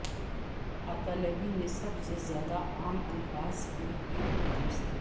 اطالوی میں سب سے زیادہ عام الفاظ کی ایک فہرست